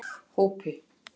Hópi